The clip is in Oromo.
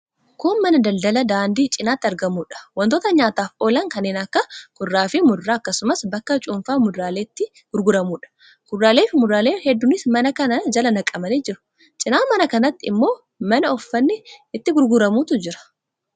Kun mana daldalaa daandii cinatti argamuudha. Wantoota nyaataaf oolan kanneen akka kuduraafi muduraa, akkasumas bakka cuunfaan muduraalee itti gurguramuudha. Kuduraaleefi muduraalee hedduunis mana kana jala naqamanii jiru. Cina mana kanaatiin immoo mana uffatni itti gurguramutu jira.